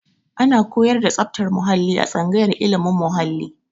Ana koyar da tsabtar muhalli a tsangayar ilimin muhalli